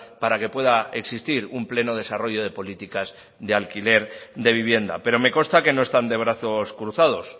para que pueda existir un pleno desarrollo de políticas de alquiler de vivienda pero me consta que no están de brazos cruzados